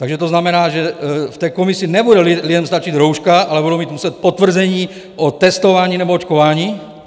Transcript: Takže to znamená, že v té komisi nebude lidem stačit rouška, ale budou muset mít potvrzení o testování nebo očkování?